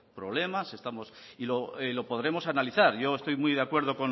problemas y lo podremos analizar yo estoy muy de acuerdo